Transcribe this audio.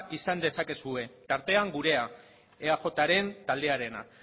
izan dezakezue tartean gurea eajren taldearena